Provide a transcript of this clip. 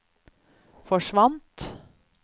forsvant